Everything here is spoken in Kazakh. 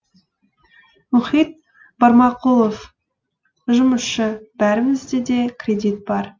мұхит барманқұлов жұмысшы бәрімізде де кредит бар